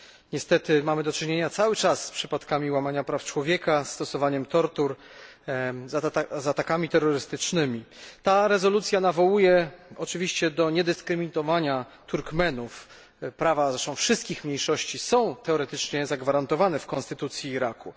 Niestety mamy do czynienia cały czas z przypadkami łamania praw człowieka, stosowaniem tortur, z atakami terrorystycznymi. Ta rezolucja nawołuje oczywiście do niedyskryminowania Turkmenów, prawa zresztą wszystkich mniejszości są teoretyczne zagwarantowane w konstytucji Iraku.